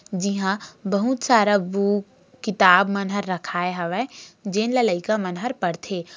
जी हां बहुत सारा बुक किताब मन हर रखाय हवय जेन ल लइका मन हर पढ़थे।